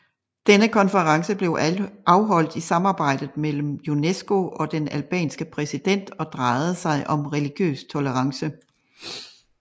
Denne konference blev afholdt i samarbejde mellem UNESCO og den albanske præsident og drejede sig om religiøs tolerance